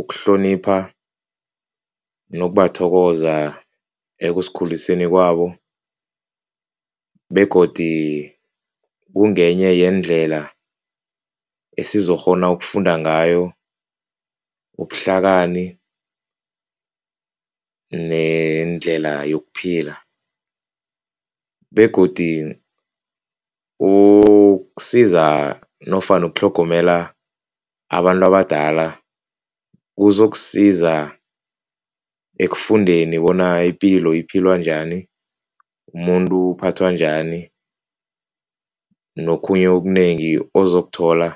ukuhlonipha nokubathokoza ekusikhuliseni kwabo begodi kungenye yeendlela esizokukghona ukufunda ngayo ubuhlakani nendlela yokuphila begodi ukusiza nofana ukutlhogomela abantu abadala kuzokusiza ekufundeni bona ipilo ephilwa njani, umuntu uphathwa njani, nokhunye okunengi ozokuthola